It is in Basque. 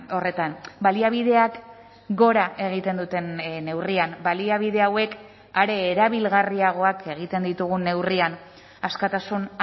horretan baliabideak gora egiten duten neurrian baliabide hauek are erabilgarriagoak egiten ditugun neurrian askatasun